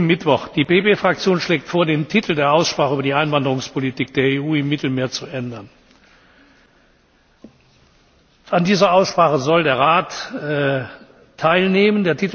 Mittwoch Die PPE Fraktion schlägt vor, den Titel der Aussprache über die Einwanderungspolitik der EU im Mittelmeer zu ändern. An dieser Aussprache soll der Rat teilnehmen.